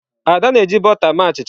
Ada na-eji bọta mee achicha.